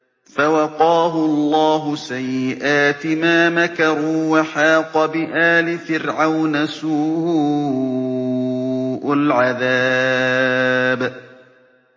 فَوَقَاهُ اللَّهُ سَيِّئَاتِ مَا مَكَرُوا ۖ وَحَاقَ بِآلِ فِرْعَوْنَ سُوءُ الْعَذَابِ